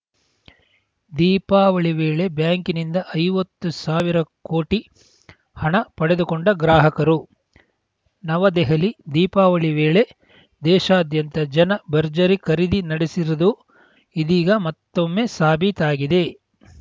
ದೀಪಾವಳಿ ವೇಳೆ ಬ್ಯಾಂಕಿಂದ ಐವತ್ತು ಸಾವಿರ ಕೋಟಿ ಹಣ ಪಡೆದುಕೊಂಡ ಗ್ರಾಹಕರು ನವದೆಹಲಿ ದೀಪಾವಳಿ ವೇಳೆ ದೇಶಾದ್ಯಂತ ಜನ ಭರ್ಜರಿ ಖರೀದಿ ನಡೆಸಿರುವುದು ಇದೀಗ ಮತ್ತೊಮ್ಮೆ ಸಾಬೀತಾಗಿದೆ